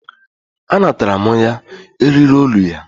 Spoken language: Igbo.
A natara mụ ya eriri olu ya.